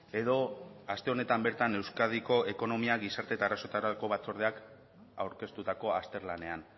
edo aste honetan bertan euskadiko ekonomia gizarte eta arazoetarako batzordeak aurkeztutako azterlanean